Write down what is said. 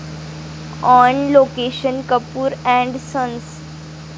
on location 'Kapoor and sons'